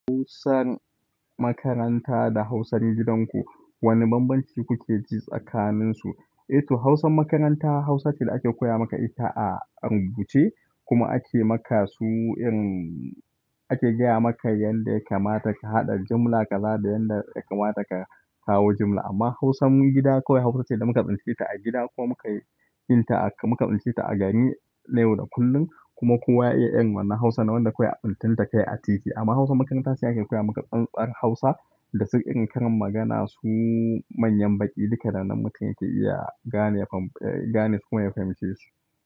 Hausan makaranta da Hausan gidanku, wani bambanci kuke ji tsakaninsu? To, Hausan makaranta, Hausa ce da ake koya maka ita a rubuce, kuma ake maka su, ake gaya maka yanda ya kamata ka haɗa jimla ka zaba yanda ya kamata ka kawo jimla. Amma Hausan gida, kawai Hausa ce da muka ɓince ta a gida ko muka yi, kin ta a, muka ɓince ta a gani na yau da kullum kuma kowa ya iya yin wannan Hausa na wanda kawai a tsincen ta kayi a titi. Amma Hausan makaranta shi ake koya maka tsantar Hausa, da su irin karin magana su manyan baƙi duka da nan mutum yake iya gane, gane su kuma ya fahimci su.